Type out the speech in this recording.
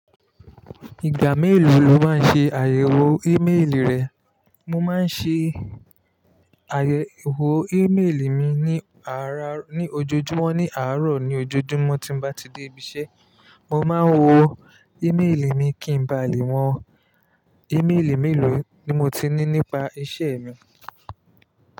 Ìgbà mélòó ni o máa ń ṣe àyẹ̀wò ímélì rẹ̀? Mo máa ń ṣe àyẹ̀wò ímélì mi ní àárá, ní ojoojúmọ́ ní àárọ̀ ní ojoojúmọ́ tí mo bá ti dé ibi iṣẹ́. Mo máa ń wo ímeélì mi kí ń ba lè wọn. Íméelì mélòó ni mo ti ní nípa iṣẹ́ mi?